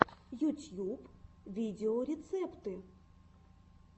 ютьюб видеорецепты